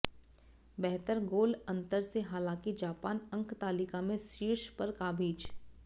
बेहतर गोल अंतर से हालांकि जापान अंकतालिका में शीर्ष पर काबिज